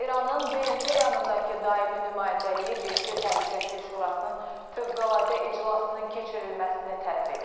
İranın BMT yanındakı daimi nümayəndəliyi BMT Təhlükəsizlik Şurasının fövqəladə iclasının keçirilməsini tələb edib.